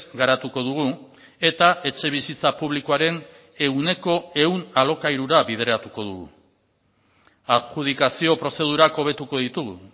garatuko dugu eta etxebizitza publikoaren ehuneko ehun alokairura bideratuko dugu adjudikazio prozedurak hobetuko ditugu